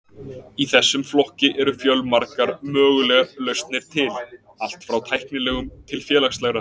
Í þessum flokki eru fjölmargar mögulegar lausnir til, allt frá tæknilegum til félagslegra.